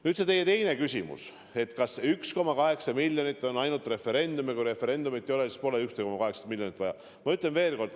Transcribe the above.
Nüüd see teie teine küsimus: kas 1,8 miljonit on vaja ainult referendumi jaoks ja kui referendumit ei oleks, siis poleks 1,8 miljonit vaja?